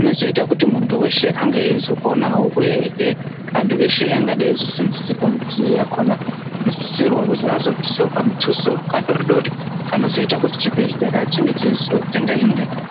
inozoita kuti muntu weshe ange eizoponawo. Uyehe antu eshe angadai eizoseenzeserwa midziyo yakona anosisirwa kuzi azobvisawo kamutuso kadoridori kanozoita kuti chibhehlera chinge cheizotenga imweni